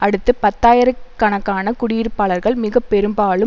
அடுத்து பத்தாயிர கணக்கான குடியிருப்பாளர்கள் மிக பெரும்பாலும்